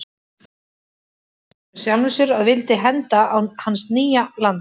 Slíkt varð hann að viðurkenna með sjálfum sér að vildi henda á hans nýja landi.